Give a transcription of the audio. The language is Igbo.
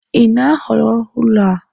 Ị na-ahọrọ ụlọ a?